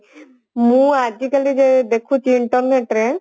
ମୁଁ ଆଜିକାଲି ଯୋଉ ଦେଖୁଛି internet ରେ